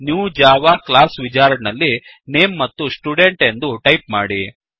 new Java class wizard ನಲ್ಲಿ name ನಲ್ಲಿ student ಎಂದು ಟೈಪ್ ಮಾಡಿ